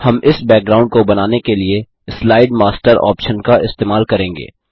हम इस बैकग्राउंड को बनाने के लिए स्लाइड मास्टर ऑप्शन का इस्तेमाल करेंगे